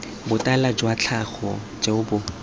botala jwa tlhaga jo bo